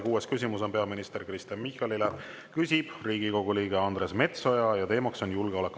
Kuues küsimus on peaminister Kristen Michalile, küsib Riigikogu liige Andres Metsoja ja teema on julgeolek.